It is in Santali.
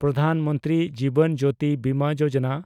ᱯᱨᱚᱫᱷᱟᱱ ᱢᱚᱱᱛᱨᱤ ᱡᱤᱵᱚᱱ ᱡᱳᱛᱤ ᱵᱤᱢᱟ ᱭᱳᱡᱚᱱᱟ